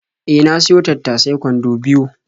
E, na siyo tattasai kwando biyo.